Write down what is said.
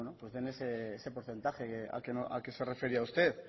ese porcentaje al que se refería usted